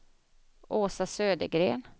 Åsa Södergren